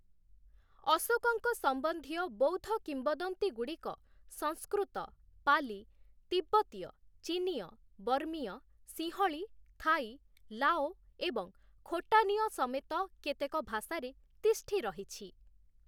ଅଶୋକଙ୍କ ସମ୍ବନ୍ଧୀୟ ବୌଦ୍ଧ କିମ୍ବଦନ୍ତୀଗୁଡ଼ିକ ସଂସ୍କୃତ, ପାଲି, ତିବ୍ବତୀୟ, ଚିନୀୟ, ବର୍ମୀୟ, ସିଂହଳୀ, ଥାଇ, ଲାଓ ଏବଂ ଖୋଟାନୀୟ ସମେତ କେତେକ ଭାଷାରେ ତିଷ୍ଠି ରହିଛି ।